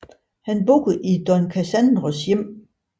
Han bor i Don Cassandros hjem